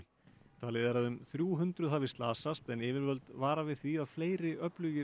talið er að um þrjú hundruð hafi slasast en yfirvöld vara við því að fleiri öflugir